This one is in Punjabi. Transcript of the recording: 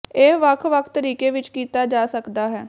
ਇਹ ਵੱਖ ਵੱਖ ਤਰੀਕੇ ਵਿੱਚ ਕੀਤਾ ਜਾ ਸਕਦਾ ਹੈ